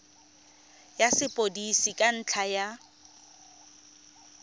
ya sepodisi ka ntlha ya